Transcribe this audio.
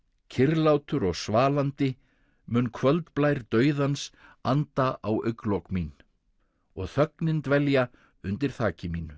kyrrlátur og svalandi mun dauðans anda á augnlok mín og þögnin dvelja undir þaki mínu